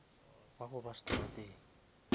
wa go ba seterateng